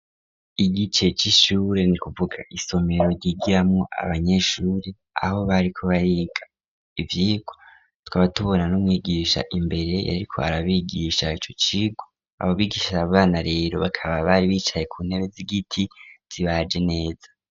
Igice c'ishure, ni kuvuga isomero ryigiramwo abanyeshuri aho bariko bariga ivyigwa, tukaba tubona numwigisha imbere yariko arabigisha ico cigwa abobigisha abo bana rero bakaba bari bicaye ku ntebe z'igiti zibaje neza.